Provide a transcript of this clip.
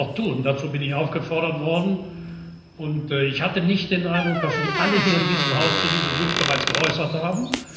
Das werde ich auch tun, dazu bin ich aufgefordert worden, und ich hatte nicht den Eindruck, dass Sie sich alle hier in diesem Haus zu diesem Wunsch bereits geäußert haben.